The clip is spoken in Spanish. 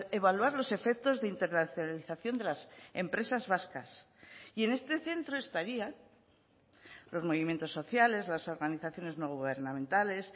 evaluar los efectos de internacionalización de las empresas vascas y en este centro estarían los movimientos sociales las organizaciones no gubernamentales